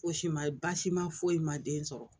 Fosi ma ye baasi ma foyi ma den sɔrɔ